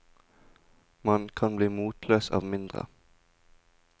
Man kan bli motløs av mindre.